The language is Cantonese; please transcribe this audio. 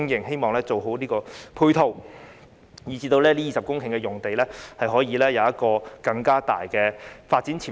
希望政府能完善相關的配套，以至這20公頃用地可以有更大的發展潛力。